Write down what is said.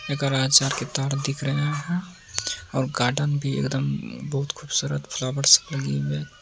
के तार दिख रही हैं और गार्डन भी एकदम बोहोत खूबसूरत फ्लावर्स लगे हुए हैं।